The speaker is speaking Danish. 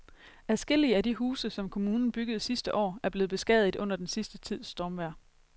Adskillige af de huse, som kommunen byggede sidste år, er blevet beskadiget under den sidste tids stormvejr.